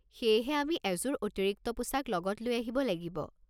সেয়েহে আমি এযোৰ অতিৰিক্ত পোছাক লগত লৈ আহিব লাগিব।